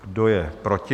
Kdo je proti?